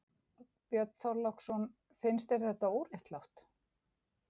Björn Þorláksson: Finnst þér þetta óréttlátt?